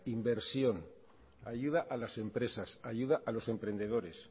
inversión ayuda a las empresas ayuda a los emprendedores